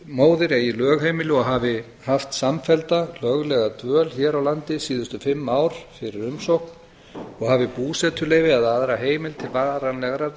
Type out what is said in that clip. staðgöngumóðir eigi lögheimili og hafi haft samfellda löglega ára dvöl hér á landi síðustu fimm ár fyrir umsókn og hafi búsetuleyfi eða aðra heimild til varanlegrar